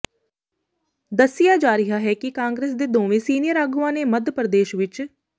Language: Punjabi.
ਦਸਿਆ ਜਾ ਰਿਹਾ ਹੈ ਕਿ ਕਾਂਗਰਸ ਦੇ ਦੋਵੇਂ ਸੀਨੀਅਰ ਆਗੂਆਂ ਨੇ ਮੱਧ ਪ੍ਰਦੇਸ਼ ਵਿਚ